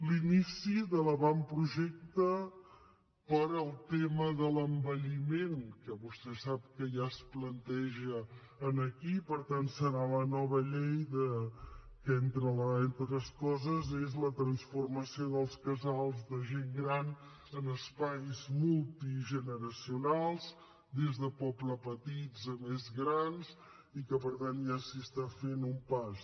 l’inici de l’avantprojecte per al tema de l’envelliment que vostè sap que ja es planteja aquí i per tant serà la nova llei que entre altres coses és la transformació dels casals de gent gran en espais multigeneracionals des de pobles petits a més grans i que per tant ja s’hi fa un pas